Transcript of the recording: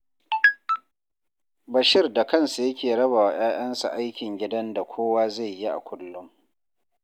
Bashir da kansa yake raba wa 'ya'yansa aikin gidan da kowa zai yi a kullum